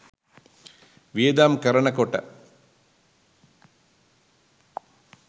වියදම් කරනකොට